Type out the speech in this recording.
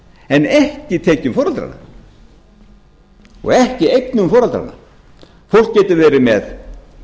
en ekki tekjum foreldranna og ekki eignum foreldranna fólk getur verið með